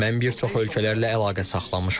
Mən bir çox ölkələrlə əlaqə saxlamışam.